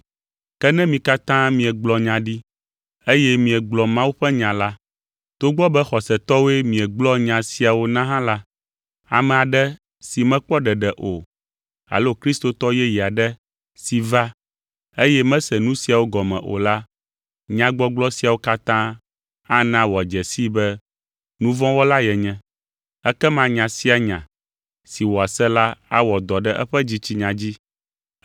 Ke ne mi katã miegblɔ nya ɖi, eye miegblɔ Mawu ƒe nya la, togbɔ be xɔsetɔwoe miegblɔa nya siawo na hã la, ame aɖe si mekpɔ ɖeɖe o alo kristotɔ yeye aɖe si va, eye mese nu siawo gɔme o la, nyagbɔgblɔ siawo katã ana wòadze sii be nu vɔ̃ wɔla yenye. Ekema nya sia nya si wòase la awɔ dɔ ɖe eƒe dzitsinya dzi.